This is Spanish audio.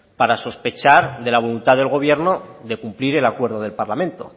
para sospechar de la voluntad del gobierno de cumplir el acuerdo del parlamento